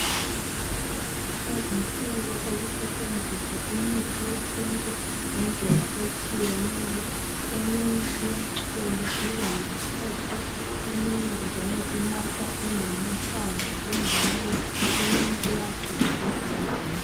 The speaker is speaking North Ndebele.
Lezinsuku sokusetshenziswa imithi yesintu ngendlela etshiyeneyo eminye iyacholwa ibe yimpuphu eminye njalo inathwa ingamahlamvu injalo eminye iyagxutshwa ezilondeni.